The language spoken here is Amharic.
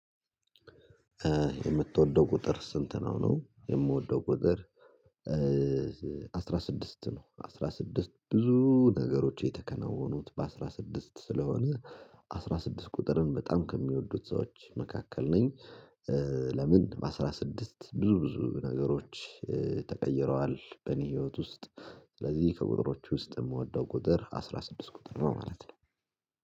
የምትወደው ቁጥር ስንት ነው? ነው የምወደው ቁጥር አስራ ስድስት ነው አስራ ስድስት ብዙ ነገሮች የተከናወኑት በአስራ ስድስት ስለሆነ አስራ ስድስት ቁጥርን በጣም ከሚወዱት ሰዎች መካከል ነኝ። ለምን በአስራ ስድስት ብዙ ብዙ ነገሮች ተቀይረዋል በእኔ ህይወት ውስጥ። ስለዚህ ከቁጥሮች ውስጥ የምወደው ቁጥር አስራ ስድስት ቁጥር ነው ማለት ነው